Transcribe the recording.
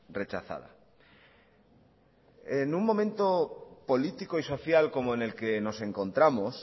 rechazada en un momento político y social como en el que nos encontramos